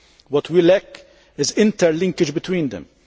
What we lack is interlinkage between them.